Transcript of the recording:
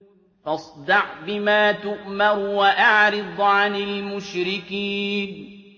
فَاصْدَعْ بِمَا تُؤْمَرُ وَأَعْرِضْ عَنِ الْمُشْرِكِينَ